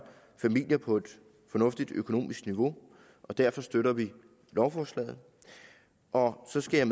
familier på et fornuftigt økonomisk niveau og derfor støtter vi lovforslaget og så skal jeg